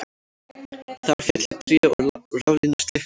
Þar féllu tré og raflínur slitnuðu